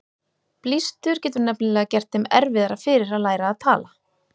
Blístur getur nefnilega gert þeim erfiðara fyrir að læra að tala.